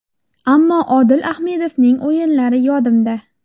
Ammo Odil Ahmedovning o‘yinlari yodimda.